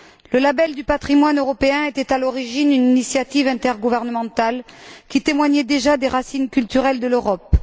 Le label du patrimoine européen était à l'origine une initiative intergouvernementale qui témoignait déjà des racines culturelles de l'Europe.